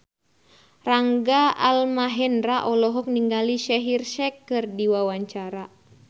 Rangga Almahendra olohok ningali Shaheer Sheikh keur diwawancara